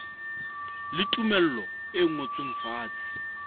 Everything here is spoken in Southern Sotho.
le tumello e ngotsweng fatshe